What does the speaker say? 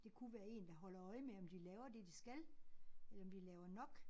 Det kunne være én der holder øje med om de laver det de skal eller om de laver nok